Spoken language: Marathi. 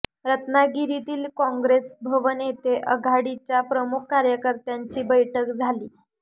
रत्नागिरीतील कॉँग्रेस भवन येथे आघाडीच्या प्रमुख कार्यकर्त्यांची बैठक झाली